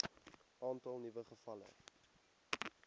aantal nuwe gevalle